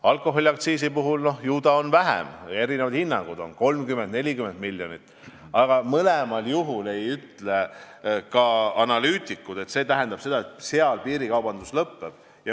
Alkoholiaktsiisi puhul on seda vähem, eri hinnangutel 30 või 40 miljonit, aga kummalgi juhul ei ütle ka analüütikud, et see tähendaks, nagu piirikaubandus lõpeks.